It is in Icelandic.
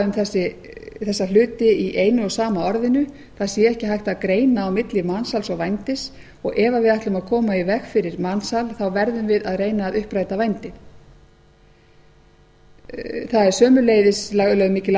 um þessa hluti í einu og sama orðinu það sé ekki hægt að greina á milli mansals og vændis og ef við ætlum að reyna að koma í veg fyrir mansal þá verðum við að reyna að uppræta vændi það er sömuleiðis lögð mikil